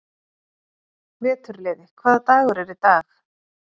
Veturliði, hvaða dagur er í dag?